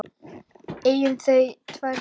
Eiga þau tvær dætur.